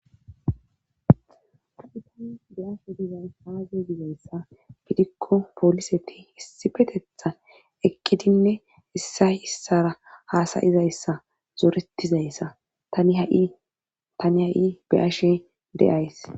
tani tani beyashe dizay haaze gizayssa fidikko poliseti hissifetetha ekkidinne issa issara haasayizayssa zoretizayssa tani ha7i beyashe de7ays